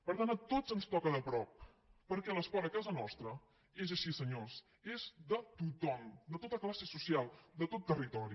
per tant a tots ens toca de prop perquè l’esport a casa nostra és així senyors és de tothom de tota classe social de tot territori